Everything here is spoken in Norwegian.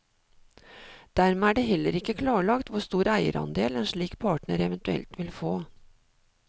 Dermed er det heller ikke klarlagt hvor stor eierandel en slik partner eventuelt vil få.